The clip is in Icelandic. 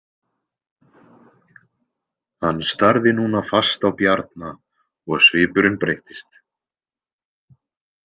Hann starði núna fast á Bjarna og svipurinn breyttist.